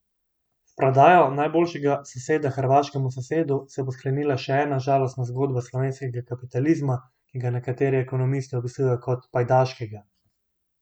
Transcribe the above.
S prodajo najboljšega soseda hrvaškemu sosedu se bo sklenila še ena žalostna zgodba slovenskega kapitalizma, ki ga nekateri ekonomisti opisujejo kot pajdaškega.